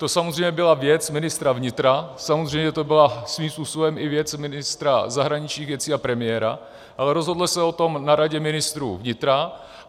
To samozřejmě byla věc ministra vnitra, samozřejmě to byla svým způsobem i věc ministra zahraničních věcí a premiéra, ale rozhoduje se o tom na Radě ministrů vnitra.